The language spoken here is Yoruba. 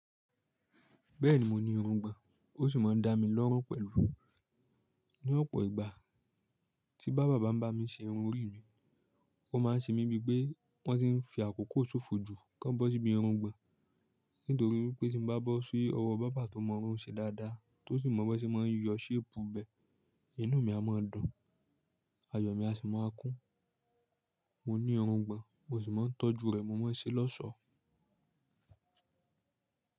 Bẹ́ẹ̀ni mo ní irungbọ̀n, ó sì máa ń dá mi lọ́rùn pẹ̀lú. Ní ọ̀pọ̀ ìgbà tí bá baber ba n bá mi ṣe irun orí mi, wọ́n máa ń ṣe mí bíi pé wọ́n ti ń fi àkókò ṣòfò jù kí wọ́n bọ́ sí bí irungbọ̀n. Nítorí pé tí mo bá bọ́ sí ọwọ́ bàbá tó mọ irun ṣe dáadáa, tó sì mọ bí wọ́n ṣe máa ń yọ sharp bẹ́ẹ̀, inú mi a máa dùn, ayọ̀ mi a sì máa kún. Mo ní irungbọ̀n, mo sì máa ń tọ́jú rè mọ́ sé lọ́sọ̀ọ́.